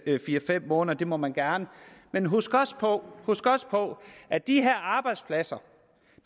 fire fem måneder det må man gerne men husk også på at de her arbejdspladser